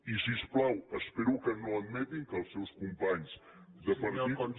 i si us plau espero que no admetin que els seus companys de partit